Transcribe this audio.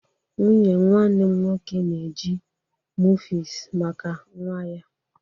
Nwunye nwanne m nwoke na-eji mufies maka nwa ya.